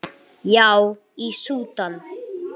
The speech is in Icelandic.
Já, í Súdan.